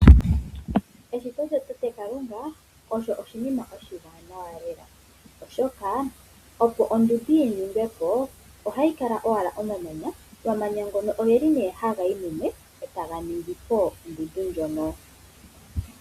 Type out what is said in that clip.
Eshito lya tate Kalunga olyo oshinima oshiwanawa lela oshoka opo ondunda yi ningwe po ohayi kala owala omamanya. Omamanya ngono oheli nee haha yo mumwe etaga ningi po ondundu ndjoka.